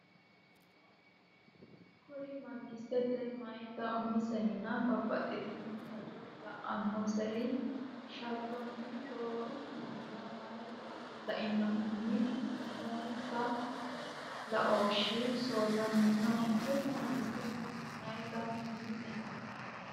Kuri mangistete, meyaate umisenna babbaxxitino hajo la’annonsari sharronni rooru mannira mey- aata lainohunni noonsa laooshshi soorramino Kuri mangistete, meyaate umisenna.